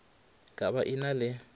ka ba e na le